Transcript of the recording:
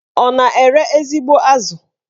Ọ na-ere ezigbo azụ?